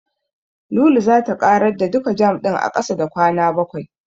Lulu zata ƙarar da duka jam ɗin a ƙasa da kwana bakwai.